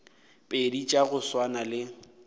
pedi tša go swana le